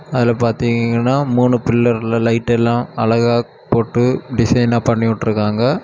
அதுல பாத்தீங்கன்னா மூணு பில்லர்ல லைட் எல்லா அழகா போட்டு டிசைனா பண்ணிவிட்ருக்காங்க.